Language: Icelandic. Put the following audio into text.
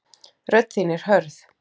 Rödd þín er hörð.